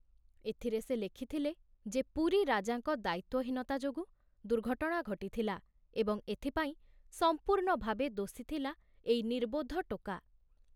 ଏଥିରେ ସେ ଲେଖିଥିଲେ ଯେ ପୁରୀ ରାଜାଙ୍କ ଦାୟିତ୍ବହୀନତା ଯୋଗୁ ଦୁର୍ଘଟଣା ଘଟିଥିଲା ଏବଂ ଏଥିପାଇଁ ସମ୍ପୂର୍ଣ୍ଣ ଭାବେ ଦୋଷୀ ଥିଲା ଏଇ ନିର୍ବୋଧ ଟୋକା।